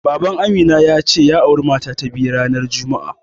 Baban Amina ya ce, ya auri mata ta biyu ranar juma'a.